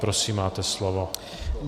Prosím, máte slovo.